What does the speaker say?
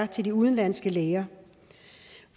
til de udenlandske læger